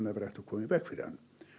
verið hægt að koma í veg fyrir hann